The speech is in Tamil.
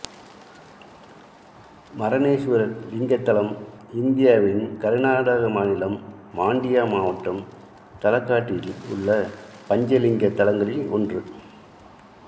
மரனேசுவரர் லிங்கத்தலம்இந்தியாவின் கர்நாடக மாநிலம் மாண்டியா மாவட்டம் தலக்காட்டில் உள்ள பஞ்ச லிங்க தலங்களில் ஒன்று